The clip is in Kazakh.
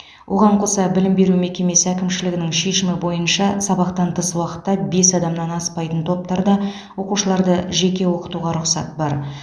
оған қоса білім беру мекемесі әкімшілігінің шешімі бойынша сабақтан тыс уақытта бес адамнан аспайтын топтарда оқушыларды жеке оқытуға рұқсат бар